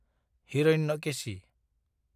Hiranyakeshi